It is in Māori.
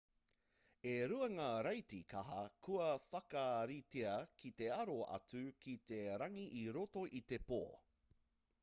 e rua ngā raiti kaha kua whakaritea ki te aro atu ki te rangi i roto i te pō